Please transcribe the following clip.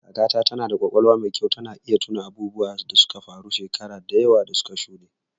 Kakata tana da ƙwaƙwalwar mai kyau, tana iya tuno abubuwan da suka faru shekaru da yawa da suka shuɗe.